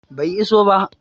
Bai iso ba